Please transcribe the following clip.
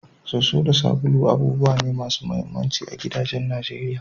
Soso da sabulai abubuwa ne masu muhimmanci a gidajen Najeriya.